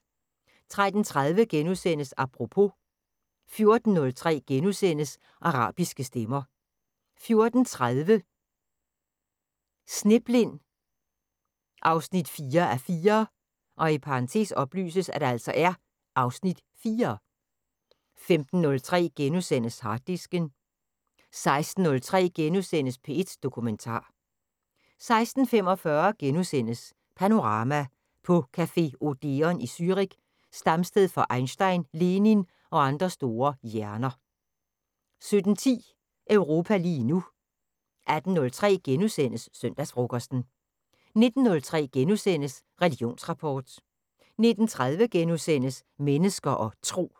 13:30: Apropos * 14:03: Arabiske stemmer * 14:30: Sneblind 4:4 (Afs. 4) 15:03: Harddisken * 16:03: P1 Dokumentar * 16:45: Panorama: På café Odeon i Zürich, stamsted for Einstein, Lenin og andre store hjerner * 17:10: Europa lige nu 18:03: Søndagsfrokosten * 19:03: Religionsrapport * 19:30: Mennesker og Tro *